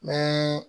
Ni